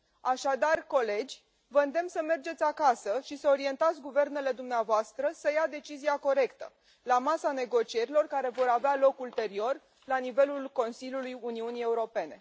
Așadar, dragi colegi, vă îndemn să mergeți acasă și să orientați guvernele dumneavoastră să ia decizia corectă la masa negocierilor care vor avea loc ulterior la nivelul Consiliului Uniunii Europene.